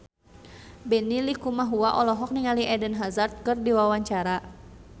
Benny Likumahua olohok ningali Eden Hazard keur diwawancara